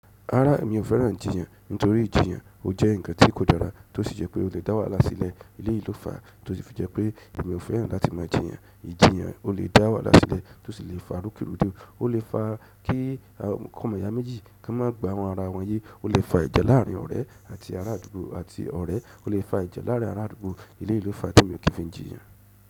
Rárá mi ò fẹ́ràn ìjìyàn nítorí ìjìyàn ó jẹ́ ǹkan tí kò dára tó sì jẹ́ pé ó le dá wàhálà sílẹ̀. Eléyìí ló fàá tó sì fi jẹ́ pé mi ò fẹ́ràn láti máa jiyàn. Ìjiyàn ó lè dá wàhálà sílẹ̀ tó sì lè fa rúkìrúdù, ó lè fa kí ọmọ ìyá méjì kán má gbọ́ àwọn ara wọn yé, ó lè fa ìjà láàrin ọ̀rẹ́ àti ará àdúgbò àti ọ̀rẹ́, ó lè fa ìjà láàrin ará àdúgbò. Eléyìí ló fàá tí èmi ò kí fi n jiyàn.